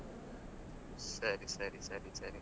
ಸರಿ ಸರಿ ಸರಿ ಸರಿ.